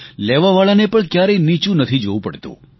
લેવાવાળાને પણ ક્યારેય નીચું નથી જોવું પડતું